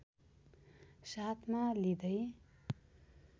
साथमा लिँदै